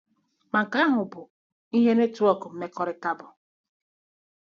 Ma nke ahụ bụ ihe netwọk mmekọrịta bụ.